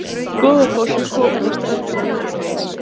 Goðafoss er komin að ströndum Jótlands